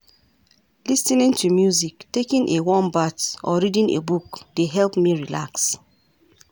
Lis ten ing to music, taking a warm bath, or reading a book dey help me relax.